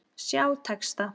Sjá texta.